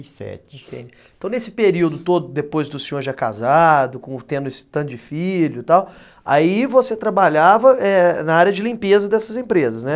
e sete Então nesse período todo, depois do senhor já casado, tendo esse tanto de filho e tal, aí você trabalhava, é, na área de limpeza dessas empresas, né?